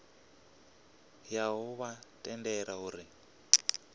ya u vha tendela uri